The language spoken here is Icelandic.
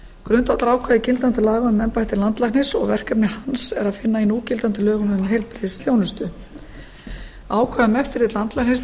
grundvallarákvæði gildandi laga um embætti landlæknis og verkefni hans er að finna í núgildandi lögum um heilbrigðisþjónustu ákvæði um eftirlit landlæknis með